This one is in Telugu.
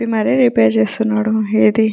రిపేరు చేస్తునాడు ఎధి --